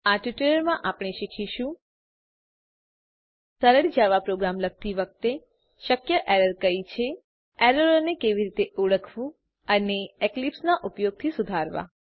આ ટ્યુટોરીયલમાં આપણે શીખીશું સરળ જાવા પ્રોગ્રામ લખતી વખતે શક્ય એરર કઈ છે એરરોને કેવી રીતે ઓળખવું અને એક્લીપ્સ નાં ઉપયોગથી સુધારવાં